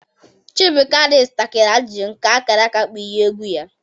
Chibu kwaurisi, takiri ajụjụ, ka akara aka kpughee egwu ya.